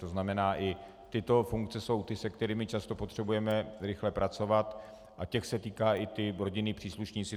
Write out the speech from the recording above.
To znamená, i tyto funkce jsou ty, se kterými často potřebujeme rychle pracovat, a těch se týká i typ rodinní příslušníci.